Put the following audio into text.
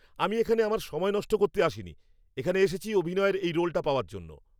আমি এখানে আমার সময় নষ্ট করতে আসিনি! এখানে এসেছি অভিনয়ের এই রোলটা পাওয়ার জন্য।